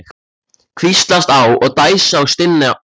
Hvíslast á og dæsa og stynja blíðlega.